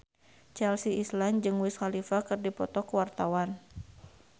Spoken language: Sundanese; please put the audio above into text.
Chelsea Islan jeung Wiz Khalifa keur dipoto ku wartawan